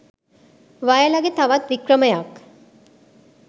වයලගේ තවත් වික්‍රමයක්